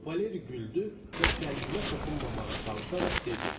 Valeri güldü və qəlbimə toxunmamağa çalışaraq dedi: